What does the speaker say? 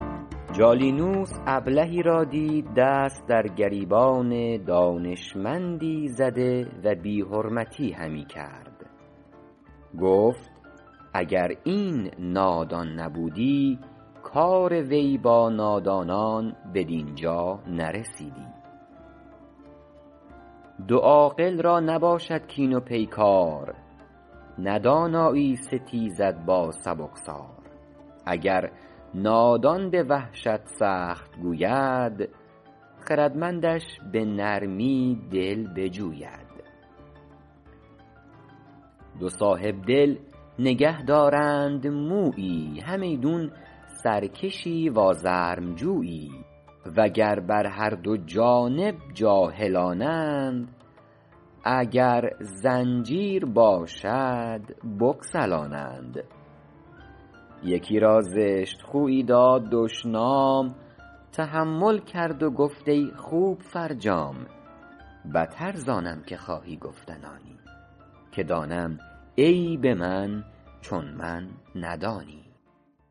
جالینوس ابلهی را دید دست در گریبان دانشمندی زده و بی حرمتی همی کرد گفت اگر این نادان نبودی کار وی با نادانان بدین جا نرسیدی دو عاقل را نباشد کین و پیکار نه دانایی ستیزد با سبکسار اگر نادان به وحشت سخت گوید خردمندش به نرمی دل بجوید دو صاحبدل نگه دارند مویی همیدون سرکشی و آزرم جویی و گر بر هر دو جانب جاهلانند اگر زنجیر باشد بگسلانند یکی را زشت خویی داد دشنام تحمل کرد و گفت ای خوب فرجام بتر زآنم که خواهی گفتن آنی که دانم عیب من چون من ندانی